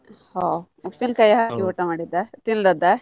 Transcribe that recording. ಹೋ ಉಪ್ಪಿನಕಾಯಿ ಹಾಕಿ ಊಟ ಮಾಡಿದ್ದ ತಿಂದದ್ದ.